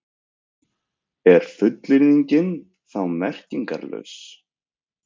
Er fullyrðingin þá merkingarlaus?